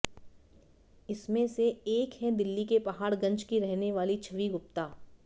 इसमें से एक हैं दिल्ली के पहाड़गंज की रहने वाली छवि गुप्ता